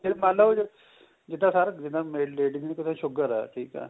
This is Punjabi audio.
ਫੇਰ ਮੰਨ ਲੋ ਜਿੱਦਾ sir ਜਿੱਦਾ ladies ਨੂੰ ਕਿੱਥੇ sugar ਏ ਠੀਕ ਏ